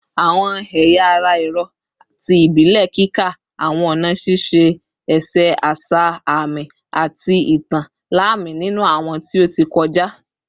Awọn ẹya ara ẹrọ ti ibile kika awọn ọna šiše ese asa aami ati itan lami ninu awọn ti o ti kọja